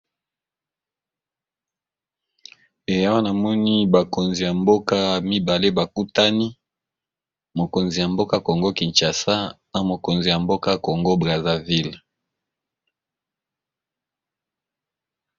Awa na moni ba konzi ya mboka mibale ba kutani , mokonzi ya mboka Congo kinshasa na mokonzi ya mboka Congo Brazzaville.